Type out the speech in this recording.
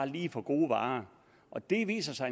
lige for gode varer og det viser sig